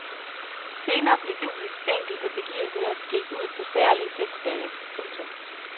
Senere blev julens enkelte begivenheder skilt ud på særlige festdage. punktum